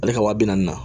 Ale ka wa bi naani na